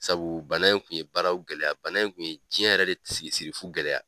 Sabu bana in kun ye baaraw gɛlɛya, bana in kun ye jɛn yɛrɛ de si siri sirifu gɛlɛya.